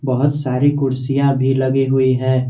बहुत सारी कुर्सियां भी लगी हुई है।